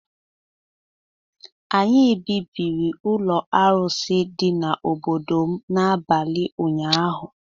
Anyị bibiri ụlọ arụsị dị n’obodo m n’abalị ụnyaahụ